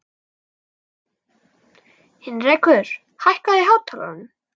Heinrekur, lækkaðu í hátalaranum.